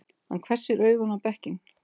Hann hvessir augun á bekkinn.